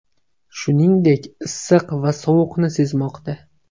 Shuningdek, issiq va sovuqni sezmoqda.